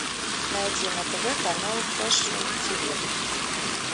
найди на тв канал фэшн тв